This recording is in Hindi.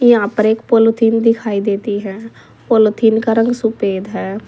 यहां पर एक पॉलिथीन दिखाई देती है पॉलिथीन का रंग सफेद है।